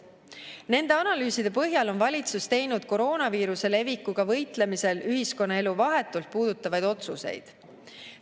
Nende analüüside põhjal on valitsus teinud koroonaviiruse levikuga võitlemisel ühiskonnaelu vahetult puudutavaid otsuseid.